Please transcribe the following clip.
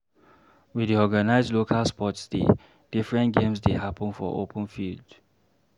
We dey organize local sports day, different games dey happen for open field.